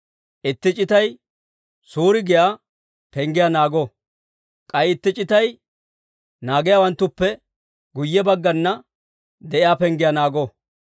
itti c'itay Suuri giyaa penggiyaa naago; k'ay itti c'itay naagiyaawanttuppe guyye baggana de'iyaa penggiyaa naago.